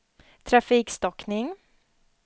trafikstockning